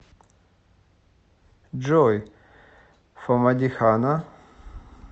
джой фамадихана